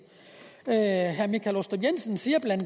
herre michael aastrup jensen siger bla